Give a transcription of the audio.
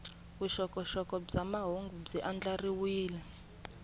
vuxokoxoko bya mahungu byi andlariwile